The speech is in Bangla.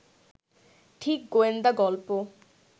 ঠিক গোয়েন্দা গল্প